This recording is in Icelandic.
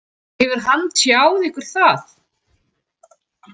Hefur hann tjáð ykkur það?